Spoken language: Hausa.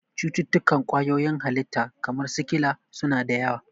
Cututtukan kwayoyin halitta, kamar sikila, su na da yawa.